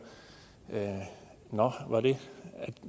nå